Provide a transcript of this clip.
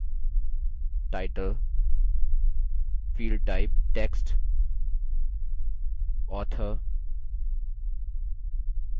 title field type text author